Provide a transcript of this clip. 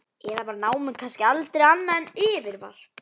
Eða var námið kannski aldrei annað en yfirvarp?